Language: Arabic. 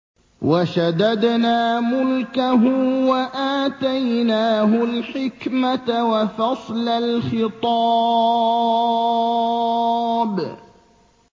وَشَدَدْنَا مُلْكَهُ وَآتَيْنَاهُ الْحِكْمَةَ وَفَصْلَ الْخِطَابِ